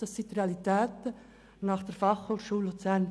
Dies sind die Realitäten gemäss der Fachhochschule Luzern.